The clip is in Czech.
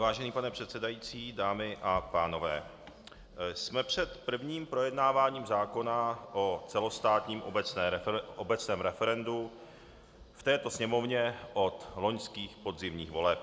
Vážený pane předsedající, dámy a pánové, jsme před prvním projednáváním zákona o celostátním obecném referendu v této Sněmovně od loňských podzimních voleb.